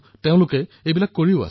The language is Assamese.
তেওঁলোকে এনেকুৱা কৰেও